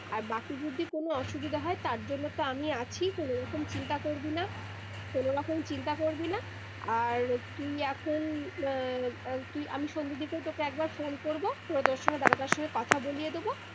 আর বাকি যদি কোনো অসুবিধে হয় তার জন্য তো আমি আছি কোনো রকম চিন্তা করবিনা কোনো রকম চিন্তা করবিনা আর তুই এখন আহ তুই আমি সন্ধ্যা দিগে একবার phone করব দাদা তার সঙ্গে কথা বলিয়ে দেবো